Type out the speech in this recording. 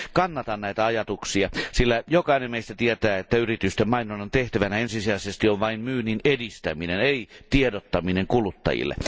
Kannatan näitä ajatuksia, sillä jokainen meistä tietää, että yritysten mainonnan tehtävänä ensisijaisesti on vain myynnin edistäminen, ei tiedottaminen kuluttajille.